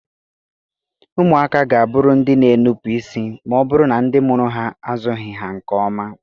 Ụmụaka ga a bụrụ ndị na-enupụ isi ma ọ bụrụ na ndị mụrụ ha azụghị ha nke ọma.